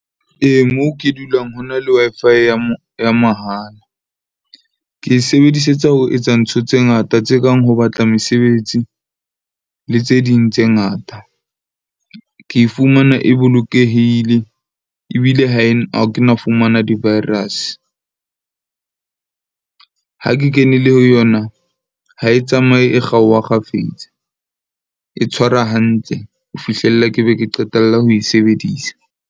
Ee, moo ke dulang ho na le Wi-Fi ya ya mahala. Ke e sebedisetsa ho etsa ntho tse ngata tse kang ho batla mesebetsi le tse ding tse ngata. Ke e fumana, e bolokehile ebile ha e ha kena fumana di-virus. Ha ke kenele ho yona, ha e tsamaye, e kgaoha kgafetsa, e tshwara hantle ho fihlela ke be ke qetelle ho e sebedisa.